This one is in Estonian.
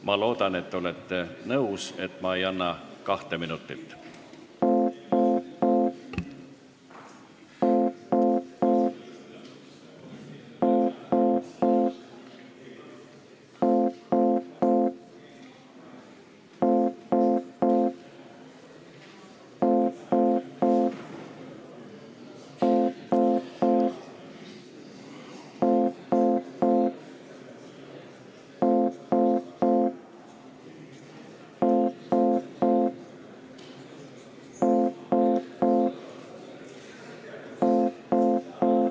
Ma loodan, et te olete nõus, et ma ei anna ettevalmistuseks kahte minutit.